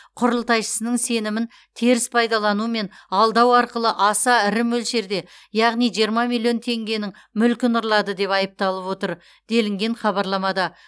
құрылтайшысының сенімін теріс пайдалану мен алдау арқылы аса ірі мөлшерде яғни жиырма миллион теңгенің мүлкін ұрлады деп айыпталып отыр делінген хабарламада